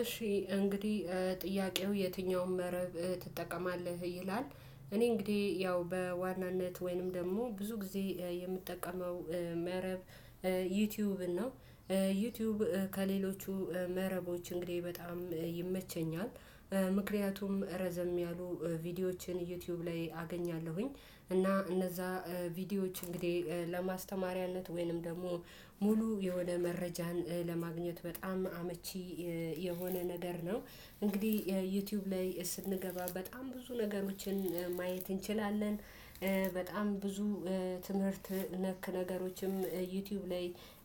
እሺ እንግዲህ ጥያቄው የትኛው መረብ ትጠቀማለህ ይላል? እኔ እንግዲህ ያው በዋናነት ወይንም ደግሞ ብዙ ጊዜ የምጠቀመው መረብ ዩቲዩብ ነው። ዩቲዩብ ከሌሎቹ መረቦች እንግዲህ በጣም ይመቸኛል። ምክንያቱም ረዘም ያሉ ቪዲዮዎችን ዩቲዩብ ላይ አገኛለሁኝ እና እነዛ ቪዲዮዎች እንግዲህ ለማስተማሪያነት ወይንም ደግሞ ሙሉ የሆነ መረጃን ለማግኘት በጣም አመቺ የሆነ ነገር ነው። እንግዲህ ዩቲዩብ ላይ ስንገባ በጣም ብዙ ነገሮችን ማየት እንችላለን። በጣም ብዙ ትምህርት ነክ ነገሮችም ዩቲዩብ ላይ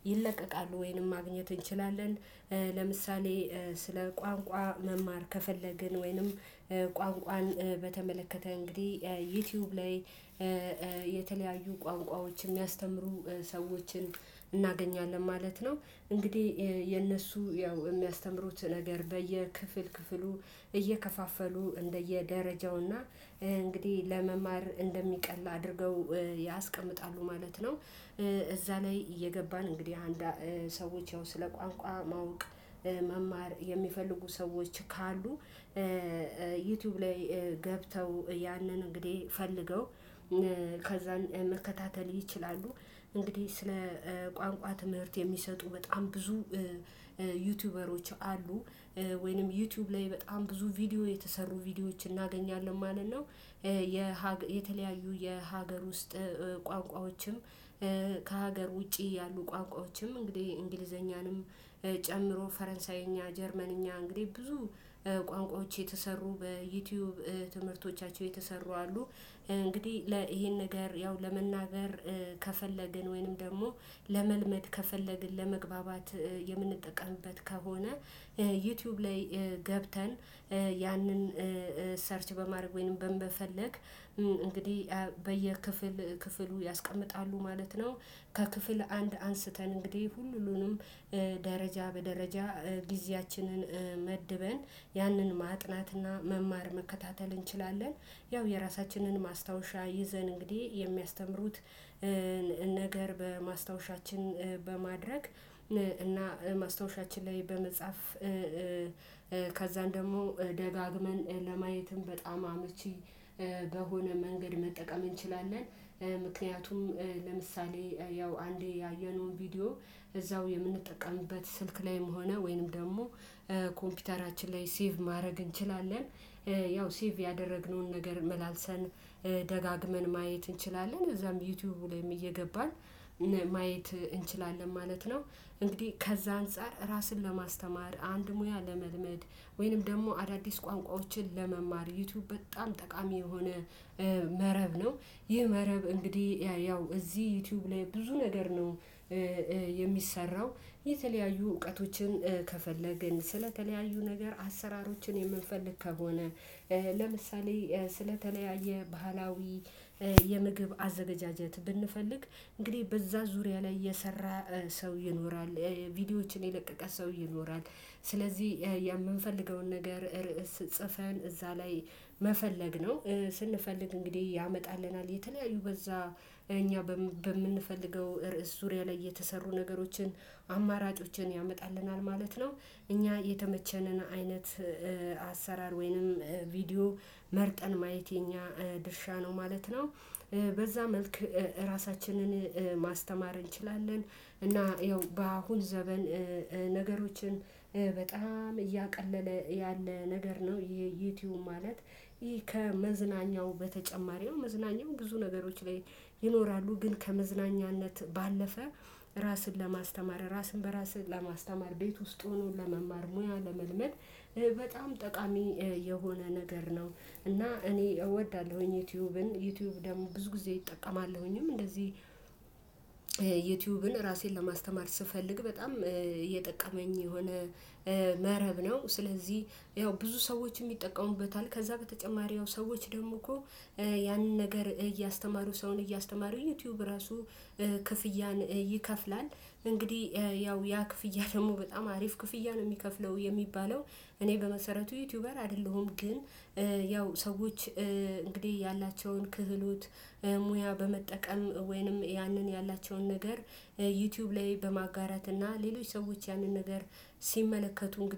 ይለቀቃሉ ወይንም ማግኘት እንችላለን። ለምሳሌ ስለ ቋንቋ መማር ከፈለግን ወይንም ቋንቋን በተመለከተ እንግዲህ ዩቲዩብ ላይ የተለያዩ ቋንቋዎችን የሚያስተምሩ ሰዎችን እናገኛለን ማለት ነው። እንግዲህ የነሱ ያው የሚያስተምሩት ነገር በየክፍል ክፍሉ እየከፋፈሉ እንደየደረጃውና እንግዲህ ለመማር እንደሚቀል አድርገው ያስቀምጣሉ ማለት ነው። እዛ ላይ እየገባን እንግዲህ አንድ ሰዎች ያው ስለ ቋንቋ ማወቅ መማር የሚፈልጉ ሰዎች ካሉ ዩቲዩብ ላይ ገብተው ያንን እንግዲህ ፈልገው ከዛን መከታተል ይችላሉ። እንግዲህ ስለ ቋንቋ ትምህርት የሚሰጡ በጣም ብዙ ዩቲዩበሮች አሉ ወይንም ዩቲዩብ ላይ በጣም ብዙ ቪዲዮ የተሰሩ ቪዲዮዎችን እናገኛለን ማለት ነው። የተለያዩ የሀገር ውስጥ ቋንቋዎችም ከሀገር ውጪ ያሉ ቋንቋዎችም እንግዲህ እንግሊዘኛንም ጨምሮ ፈረንሳይኛ ጀርመንኛ እንግዲህ ብዙ ቋንቋዎች የተሰሩ በዩቲዩብ ትምህርቶቻቸው የተሰሩ አሉ። እንግዲህ ይሄን ነገር ያው ለመናገር ከፈለግን ወይንም ደግሞ ለመልመድ ከፈለግን ለመግባባት የምንጠቀምበት ከሆነ ዩቲዩብ ላይ ገብተን ያንን ሰርች በማድረግ ወይንም በምፈልግ እንግዲህ በየክፍል ክፍሉ ያስቀምጣሉ ማለት ነው። ከክፍል አንድ አንስተን እንግዲህ ሁሉንም ደረጃ በደረጃ ጊዜያችንን መድበን ያንን ማጥናትና መማር መከታተል እንችላለን። ያው የራሳችንን ማስታወሻ ይዘን እንግዲህ የሚያስተምሩት ነገር በማስታወሻችን በማድረግ እና ማስታወሻችን ላይ በመጻፍ ከዛን ደግሞ ደጋግመን ለማየትም በጣም አመቺ በሆነ መንገድ መጠቀም እንችላለን። ምክንያቱም ለምሳሌ ያው አንዴ ያየነውን ቪዲዮ እዛው የምንጠቀምበት ስልክ ላይም ሆነ ወይንም ደግሞ ኮምፒውተራችን ላይ ሴቭ ማድረግ እንችላለን ያው ሴቭ ያደረግነውን ነገር መላልሰን ደጋግመን ማየት እንችላለን እዛም ዩቲዩብ ላይም እየገባን ማየት እንችላለን ማለት ነው። እንግዲህ ከዛ አንፃር ራስን ለማስተማር አንድ ሙያ ለመልመድ ወይንም ደግሞ አዳዲስ ቋንቋዎችን ለመማር ዩቲዩብ በጣም ጠቃሚ የሆነ መረብ ነው። ይህ መረብ እንግዲህ ያው እዚህ ዩቲዩብ ላይ ብዙ ነገር ነው። የሚሰራው የተለያዩ እውቀቶችን ከፈለግን ስለተለያዩ ነገር አሰራሮችን የምንፈልግ ከሆነ ለምሳሌ ስለተለያየ ባህላዊ የምግብ አዘጋጃጀት ብንፈልግ እንግዲህ በዛ ዙሪያ ላይ የሰራ ሰው ይኖራል ቪዲዮዎችን የለቀቀ ሰው ይኖራል ስለዚህ የምንፈልገውን ነገር ርዕስ ጽፈን እዛ ላይ መፈለግ ነው። ስንፈልግ እንግዲህ ያመጣልናል የተለያዩ በዛ እኛ በምንፈልገው ርዕስ ዙሪያ ላይ የተሰሩ ነገሮችን አማራጮችን ያመጣልናል ማለት ነው። እኛ የተመቸንን አይነት አሰራር ወይንም ቪዲዮ መርጠን ማየት የኛ ድርሻ ነው ማለት ነው። በዛ መልክ ራሳችንን ማስተማር እንችላለን እና ያው በአሁን ዘመን ነገሮችን በጣም እያቀለለ ያለ ነገር ነው። ይሄ ዩቲዩብ ማለት ይሄ ከመዝናኛው በተጨማሪው መዝናኛው ብዙ ነገሮች ላይ ይኖራሉ ግን ከመዝናኛነት ባለፈ ራስን ለማስተማር ራስን በራስህ ለማስተማር ቤት ውስጥ ሆኖ ለመማር ሙያ ለመልመድ በጣም ጠቃሚ የሆነ ነገር ነው። እና እኔ እወዳለሁኝ ዩቲዩብን ዩቲዩብ ደግሞ ብዙ ጊዜ እጠቀማለሁኝም እንደዚህ ዩቲዩብን ራሴን ለማስተማር ስፈልግ በጣም እየጠቀመኝ የሆነ መረብ ነው። ስለዚህ ያው ብዙ ሰዎች ይጠቀሙበታል ከዛ በተጨማሪ ሰዎች ደግሞ እኮ ያንን ነገር እያስተማሩ ሰውን እያስተማሩ ዩቲዩብ ራሱ ክፍያን ይከፍላል። እንግዲህ ያው ያ ክፍያ ደግሞ በጣም አሪፍ ክፍያ ነው የሚከፍለው የሚባለው እኔ በመሰረቱ ዩቲዩበር አይደለሁም ግን ያው ሰዎች እንግዲህ ያላቸውን ክህሎት ሙያ በመጠቀም ወይንም ያንን ያላቸውን ነገር ዩቲዩብ ላይ በማጋራት እና ሌሎች ሰዎች ያንን ነገር ሲመለከቱ እንግዲህ